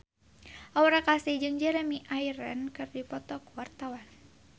Aura Kasih jeung Jeremy Irons keur dipoto ku wartawan